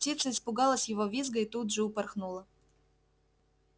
птица испугалась его визга и тут же упорхнула